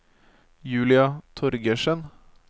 Julia Torgersen